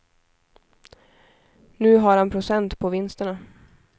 Nu har han procent på vinsterna.